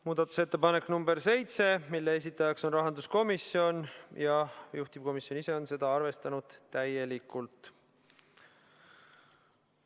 Muudatusettepanek nr 7, esitajaks on rahanduskomisjon ja juhtivkomisjon on arvestanud seda täielikult.